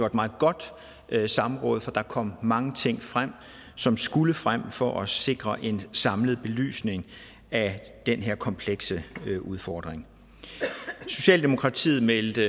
et meget godt samråd for der kom mange ting frem som skulle frem for at sikre en samlet belysning af den her komplekse udfordring socialdemokratiet meldte